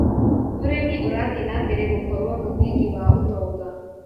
ũrĩmi ũrathiĩ na mbere gũkorwo mũthingi wa ũtonga.